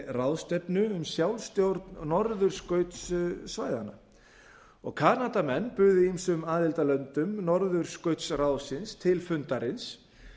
ráðstefnu um sjálfsstjórn norðurskautssvæðanna kanadamenn buðu ýmsum aðildarlöndum n norðurskautsráðsins til fundarins